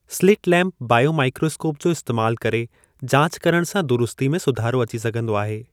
Slit lamp (biomicroscope) जो इस्तैमालु करे जाच करण सां दुरुस्ती में सुधारो अची सघन्दो आहे।